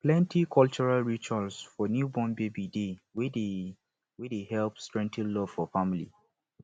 plenty cultural ritual for newborn baby dey wey dey wey dey help strengthen love for family